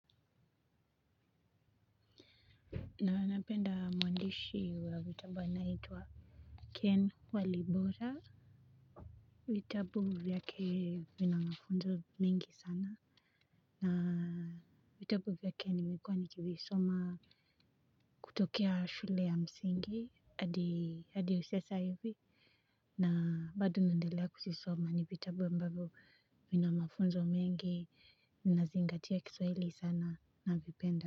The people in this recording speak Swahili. Na napenda mwandishi wa vitabu anayeitwa Ken Walibora. Vitabu vyake vina mafunzo mingi sana na vitabu vyake nimekuwa nikivisoma kutokea shule ya msingi hadi sasa hivi na bado naendelea kuzisoma ni vitabu ambavyo vina mafunzo mengi ninazingatia kiswahili sana navipenda.